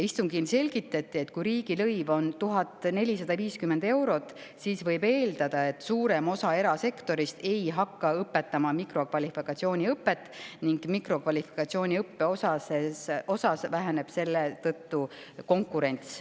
Istungil selgitati, et kui riigilõiv on 1450 eurot, siis võib eeldada, et suurem osa erasektorist ei hakka pakkuma mikrokvalifikatsiooniõpet, mille tõttu väheneb seal konkurents.